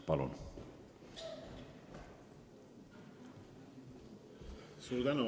Palun!